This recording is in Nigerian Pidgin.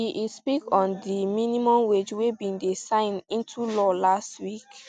e e speak on di minimum wage wey bin dey signed into law last week